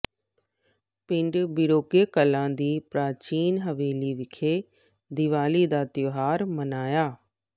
ਪਿੰਡ ਬੀਰੋਕੇ ਕਲਾਂ ਦੀ ਪ੍ਰਾਚੀਨ ਹਵੇਲੀ ਵਿਖੇ ਦੀਵਾਲੀ ਦਾ ਤਿਉਹਾਰ ਮਨਾਇਆ